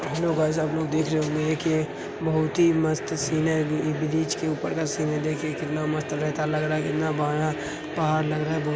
hello guys आपलोग देख रहे होंगे कि ये बहुत ही मस्त सीन है बि-- ब्रिज के ऊपर का सीन है देखिए कितना मस्त लग रहा है कितना बढ़िया पहाड़ लग रहा है